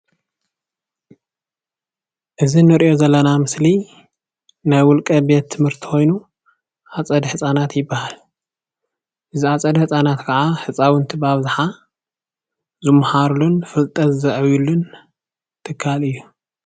እዚ ንርኦ ዘለና ምስሊ ናይ ውልቀ ቤት ትምህርቲ ኮይኑ ኣፀደ ህፃናት ይበሃል። እዚ ኣፀደ ህፃናት ከዓ ህፃውንቲ ብኣብዛሓ ዝመሃሩሉን ፍልጠት ዝዕብይሉን ትካል እዩ።